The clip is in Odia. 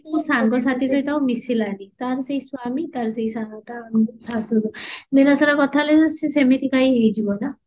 ସେ କୋଉ ସାଙ୍ଗସାଥି ସହିତ ଆଉ ମିଶିଲାନି ତାରି ସେଇ ସ୍ଵାମୀ ତାରି ସେଇ ଶାଶୁ ଶଶୁର ଦିନସାରା କଥା ହେଲେ ସେ ସେମିତିକା ହିଁ ହେଇଯିବ ନା